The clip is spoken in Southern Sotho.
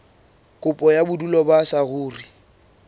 kopo ya bodulo ba saruri